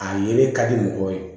A yelen ka di mɔgɔw ye